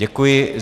Děkuji.